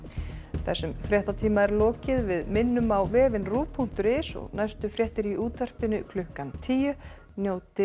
þessum fréttatíma er lokið við minnum á vefinn punktur is og næstu fréttir í útvarpinu klukkan tíu njótið